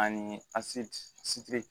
Ani asiti sidi